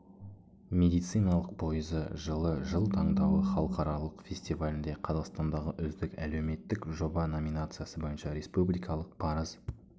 медициналық пойызы жылы жыл таңдауы халықаралық фестивалінде қазақстандағы үздік әлеуметтік жоба номинациясы бойынша республикалық парыз